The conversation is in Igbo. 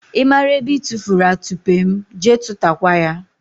ị mara ebe I tufuru atụpe m, jee tụtakwa ya!